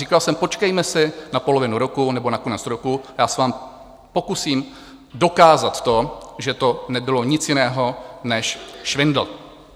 Říkal jsem: počkejme si na polovinu roku nebo na konec roku, já se vám pokusím dokázat to, že to nebylo nic jiného než švindl.